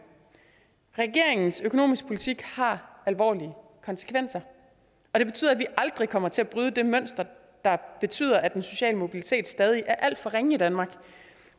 regeringens økonomiske politik har alvorlige konsekvenser og det betyder at vi aldrig kommer til at bryde det mønster der betyder at den sociale mobilitet stadig er alt for ringe i danmark